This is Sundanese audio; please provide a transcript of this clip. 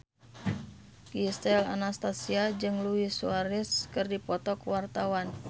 Gisel Anastasia jeung Luis Suarez keur dipoto ku wartawan